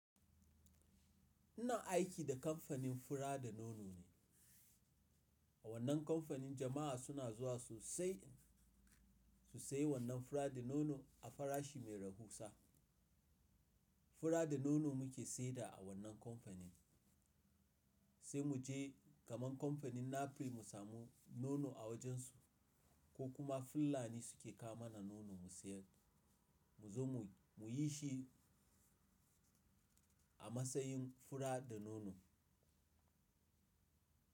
Ina aiki da kamfanin fura da nono ne. A wannan kamfanin jama'a suna zuwa su sai su sayi wannan fura da nono a farashi mai rahusa. Fura da nono muke sayar da a wannan kamfanin. Sai mu je kaman kamfanin Napoli mu samu nono a wajen su ko kuma fulani suke kawo mana nono mu sayar. Mu zo mu yi shi a matsayin fura da nono.